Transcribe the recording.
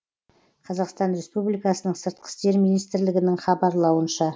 қазақстан республикасының сыртқы істер министрлігінің хабарлауынша